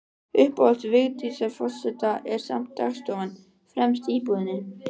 Uppáhald Vigdísar forseta er samt dagstofan, fremst í íbúðinni.